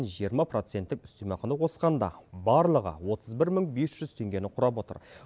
жиырма проценттік үстемақыны қосқанда барлығы отыз бір мың бес жүз теңгені құрап отыр